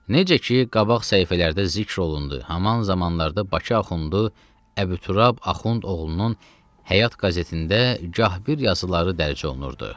Necə ki, qabaq səhifələrdə zikr olundu, haman zamanlarda Bakı axundu Əbu Turab axund oğlunun Həyat qəzetində gah bir yazıları dərc olunurdu.